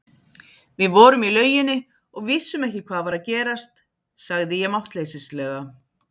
Við vorum í lauginni og vissum ekki hvað var að gerast, sagði ég máttleysislega.